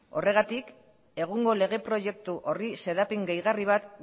horregatik egungo lege proiektu horri xedapen gehigarri bat